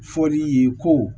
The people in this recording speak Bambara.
Fɔli ye ko